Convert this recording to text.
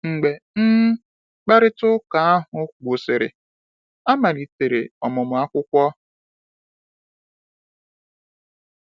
Mgbe um mkparịta ụka ahụ gwụsịrị, a malitere ọmụmụ akwụkwọ.